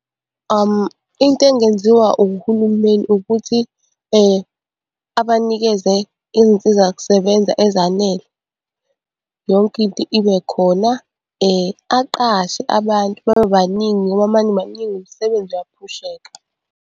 Into engenziwa uhulumeni ukuthi abanikeze iy'nsizakusebenza ezanele yonke into ibe khona. Aqashe abantu babebaningi ngoba uma nibaningi umsebenzi uyaphusheka.